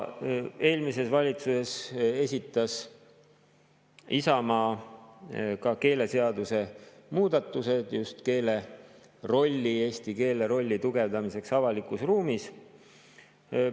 Eelmises valitsuses esitas Isamaa keeleseaduse muudatused just eesti keele rolli tugevdamiseks avalikus ruumis.